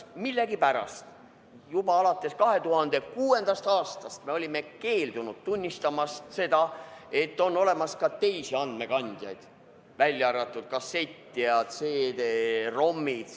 Millegipärast juba alates 2006. aastast me oleme keeldunud tunnistamast seda, et on olemas ka teisi andmekandjaid kui kassett ja CD-ROM.